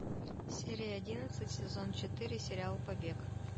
серия одиннадцать сезон четыре сериал побег